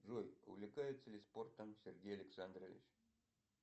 джой увлекается ли спортом сергей александрович